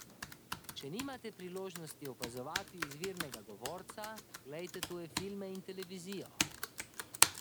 Če nimate priložnosti opazovati izvirnega govorca, glejte tuje filme in televizijo.